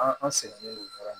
An sɛgɛnnen don baara in na